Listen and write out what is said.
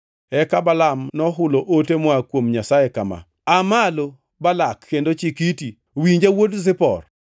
Eka Balaam nohulo ote moa kuom Nyasaye kama: Aa malo, Balak, kendo ichik iti; winja, wuod Zipor.